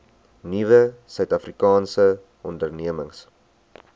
nuwe suidafrikaanse ondernemings